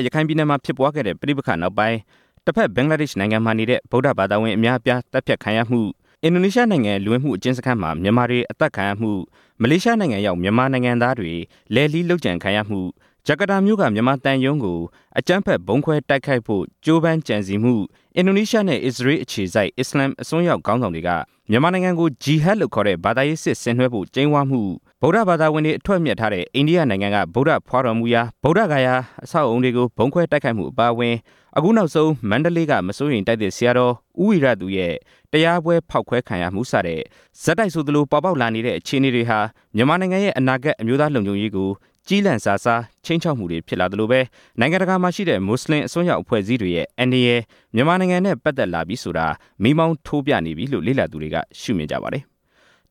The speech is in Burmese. ရခိုင်ပြည်နယ်မှာ မနှစ်က ဖြစ်ပွားခဲ့တဲ့ ပဋိပက္ခနောက်ပိုင်း ဘင်္ဂလားဒေ့်ရှ်နိုင်ငံမှာ ဗုဒ္ဓဘာသာ အများအပြား သတ်ဖြတ်ခံရမှု၊ အင်ဒိုနီးရှား လူဝင်မှုအကျဉ်းစခန်းမှာ မြန်မာတွေ အသတ်ခံရမှု၊ မလေးရှားရောက် မြန်မာနိုင်ငံသားတွေ လုပ်ကြံခံရမှု၊ ဂျာကာတာမြို့က မြန်မာသံရုံးကို ဗုံးခွဲဖို့ ကြိုးပမ်းကြံစည်မှု၊ အင်ဒိုနီးရှားနဲ့ ဆီးရီးယားနိုင်ငံ အခြေစိုက် အစ္စလာမ်အစွန်းရောက် ခေါင်းဆောင်တွေက မြန်မာနိုင်ငံကို ဂျီဟတ်လို့ခေါ်တဲ့ ဘာသာရေးစစ်ဆင်နွှဲဖို့ ကြိမ်းဝါးမှု၊ ဗုဒ္ဓဘာသာဝင်တွေ အထွတ်အမြတ်ထားတဲ့ အိန္ဒိယနိုင်ငံက ဗုဒ္ဓဂါယာကို ဗုံးခွဲတိုက်ခိုက်မှု၊ အခုနောက်ဆုံး မန္တလေးက မစိုးရိမ်တိုက်သစ် ဆရာတော် ဦးဝီရသူရဲ့တရားပွဲ ဖောက်ခွဲခံရမှု စတဲ့ ဆက်တိုက်ဆိုသလို ပေါ်ပေါက်လာခဲ့တဲ့ အခြေအနေတွေဟာ မြန်မာနိုင်ငံရဲ့ အနာဂတ်လုံခြုံရေးကို ခြိမ်းခြောက်မှုတွေ ဖြစ်လာသလို၊ နိုင်ငံတကာမှာရှိတဲ့ မွတ်စလင် အစွန်းရောက် အကြမ်းဖက်အဖွဲ့တွေရဲ့ အန္တရာယ်ဟာ မြန်မာနိုင်ငံနဲ့ ပတ်သက်လာပြီဆိုတာ မီးမောင်းထိုးပြနေပြီလို့ လေ့လာသူတွေက ရှုမြင်ကြပါတယ်။